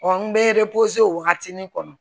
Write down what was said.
n bɛ o wagatinin kɔnɔ